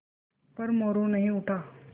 पर मोरू नहीं उठा